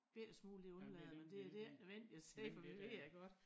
Bette smule det undlader man det det ikke nødvendigt at sige for det ved jeg godt